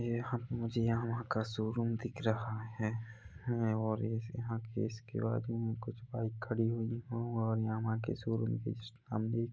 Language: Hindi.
ये यहाँ पे मुझे यामाहा का शोरूम दिख रहा है और यह यहाँ के इसके बाजू में कुछ बाइक खड़ी हुई है और यामाहा के शोरूम के जस्ट सामने--